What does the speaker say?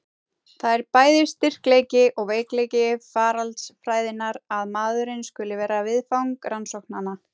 Það er bæði styrkleiki og veikleiki faraldsfræðinnar að maðurinn skuli vera viðfang rannsóknanna.